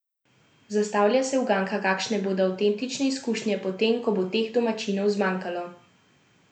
Zastavlja se uganka, kakšne bodo avtentične izkušnje potem, ko bo teh domačinov zmanjkalo?